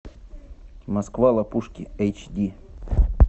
москва лопушки эйч ди